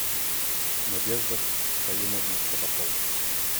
надежда каюмовна табакова